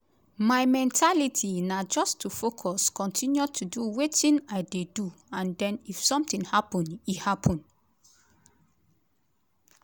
"my mentality na just to focus kotinu to do wetin i dey do and den if sometin happun e happun."